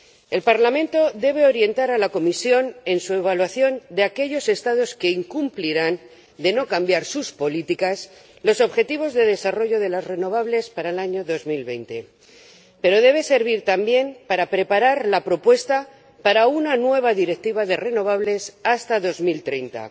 El Parlamento debe orientar a la Comisión en su evaluación de aquellos Estados que incumplirán, de no cambiar sus políticas, los objetivos de desarrollo de las renovables para el año 2020, pero debe ayudar también a preparar la propuesta para una nueva Directiva de renovables hasta 2030